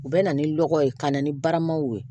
U bɛ na ni lɔgɔ ye ka na ni baramaw ye